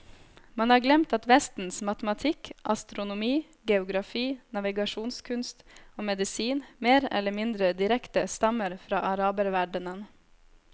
Man har glemt at vestens matematikk, astronomi, geografi, navigasjonskunst og medisin mer eller mindre direkte stammer fra araberverdenen.